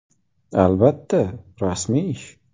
Albatta, rasmiy ish.